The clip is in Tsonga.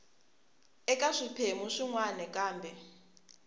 eka swiphemu swin wana kambe